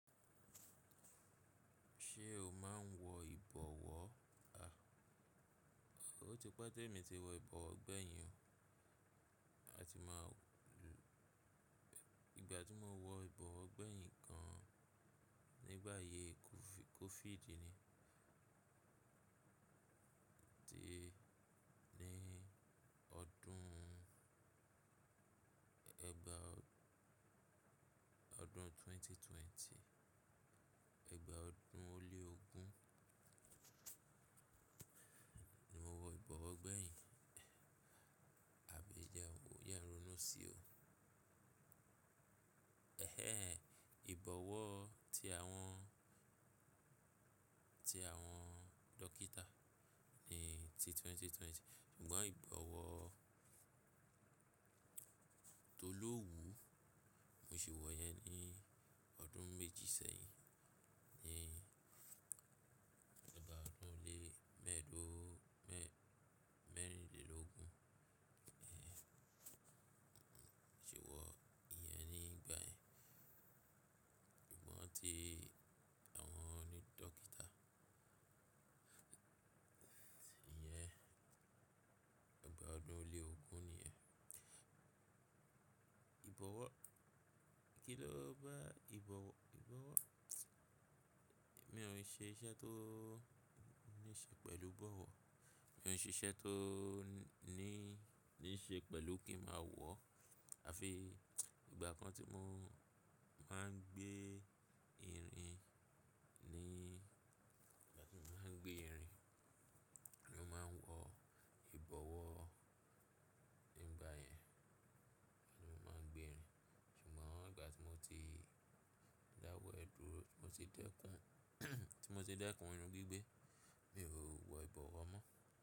Ṣé o máa ń wọ ìbọ̀wọ́? Àh A, ó ti pẹ́ te mi ti wọ ìbọ̀wọ́ gbẹ̀yìn o. A ti máa lùú, ìgbà tí mo wọ ìbọ̀wọ́ gbẹ̀yìn gan nígbà ayé kofi-covid ni. Ti ní ọdún ẹgba ọdún ẹgbẹ̀rún méjì ó lé ogún, ẹgbàá ọdún ó lé ogún ni mo wọ ìbọ̀wọ́ gbẹ̀yìn. Àbí jẹ̀ n wò ó, jẹ́ n ronú sí o. Ẹhẹ́n, ìbọ̀wọ́ ti àwọn, ti àwọn dókítà ni ti ẹgbẹ̀rún méjì ó lé ogún. Ṣùgbọ́n ìbọ̀wọ́ tó lówú mo sì wọ yẹn ní ọdún méjì sẹ́yìn. Ni ẹgbàá ọdún ó lé mẹ́ẹ̀ẹ́dógún mẹ́ mẹ́rìnlélógún. Mo sì wọ ìyẹn nígbà yẹn. Ṣùgbọ́n tí àwọn oní dókítà, ìyẹn ẹgbàá ọdún ó lé ogún nìyẹn. Ìbọ̀wọ́, kí ló bá ìbọ̀wọ́ ìbọ̀wọ́? Mi ò ní ṣe iṣẹ́ tó ní ṣe pẹ̀lú bọ̀wọ́. Mi ò n ṣe iṣẹ́ tó ní, ní ṣe pẹ̀lú kí n ma wọ. A fi ìgbà kan tí mo máa ń gbé irin ni, ìgbà tí mo máa ń gbé irin ni mo máa ń wọ ìbọ̀wọ́. Nígbà yẹn ni mo máa ń gbé irin. Ṣùgbọ́n ìgbà tí mo ti dáwọ́ ẹ̀ dúró, tí mo ti dẹ́kun tí mo ti dẹ́kun irin gbígbẹ́, mi ò wọ ìbọ̀wọ́ mọ́.